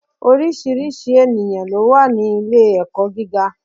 Oríṣiríṣi ènìyàn lówà ni ilé èkó giga